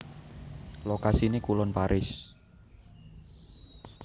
Lokasiné kulon Paris